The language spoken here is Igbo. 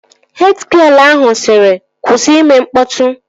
Hed gịel ahụ sịrị, kwụsị ime mkpọtụ!